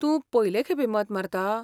तूं पयलें खेपे मत मारता?